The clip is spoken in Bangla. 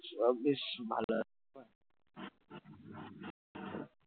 সব বেশ ভালো